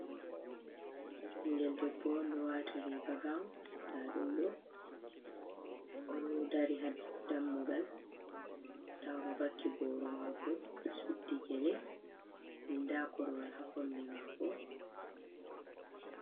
Ɓingel ɗebbo on ɗo wati riga gaun nda ɗum ɗo, oɗo dari ha dammugal nda oɗo vaki boro mako, oɗo suddi gele nda korwal ha kombi mako.